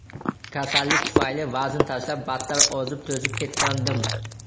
Kasallik tufayli vazn tashlab, battar ozib-to‘zib ketgandim.